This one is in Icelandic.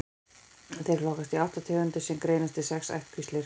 Þeir flokkast í átta tegundir sem greinast í sex ættkvíslir.